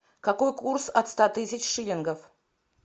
какой курс от ста тысяч шиллингов